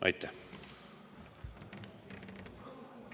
Aitäh!